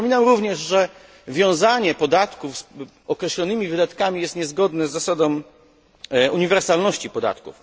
Przypominam również, że wiązanie podatku z określonymi wydatkami jest niezgodne z zasadą uniwersalności podatku.